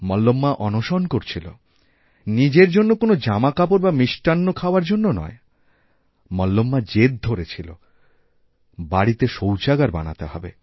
মল্লম্মা অনশন করছিল নিজেরজন্য কোন জামাকাপড় বা মিষ্টান্ন খাওয়ার জন্য নয় মল্লম্মা জেদ ধরেছিল বাড়িতেশৌচাগার বানাতে হবে